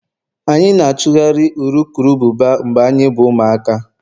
anyị na-achụgharị urukurubụba mgbe anyị bụ ụmụaka